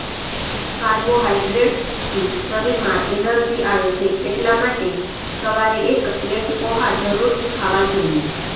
કાર્બોહાઇડ્રેટ્સથી શરીરમાં એનર્જી આવે છે એટલા માટે સવારે એક પ્લેટ પૌંહા જરૂરથી ખાવા જોઇએ